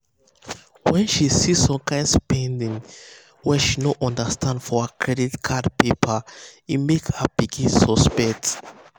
when she see some kain spending wey she no understand for her credit card paper e make her begin suspect.